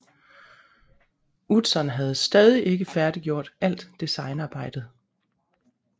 Utzon havde stadig ikke færdiggjort alt designarbejdet